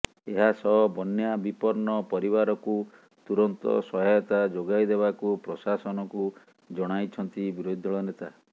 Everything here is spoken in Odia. ଏହାସହ ବନ୍ୟା ବିପନ୍ନ ପରିବାରକୁ ତୁରନ୍ତ ସହାୟତା ଯୋଗାଇଦେବାକୁ ପ୍ରଶାସନକୁ ଜଣାଇଛନ୍ତି ବିରୋଧୀ ଦଳ ନେତା